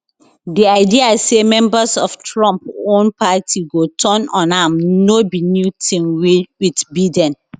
di idea say members of trump own party go turn on am no be new tin wit biden